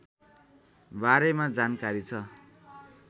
बारेमा जानकारी छ